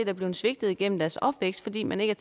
er blevet svigtet igennem deres opvækst fordi man ikke